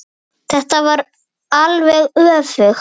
Þetta er alveg öfugt.